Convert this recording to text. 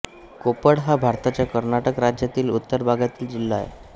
कोप्पळ हा भारताच्या कर्नाटक राज्यातील उत्तर भागातील जिल्हा आहे